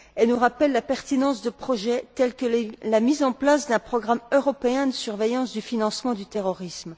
Elle nous rappelle la pertinence de projets tels que la mise en place d'un programme européen de surveillance du financement du terrorisme.